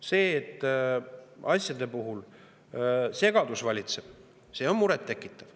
See, et asjade puhul valitseb segadus, on murettekitav.